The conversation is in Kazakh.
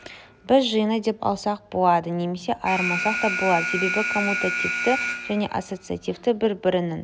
біз жиыны деп алсақ болады немесе айырмасақ та болады себебі коммутативті және ассоциативті бір-бірінің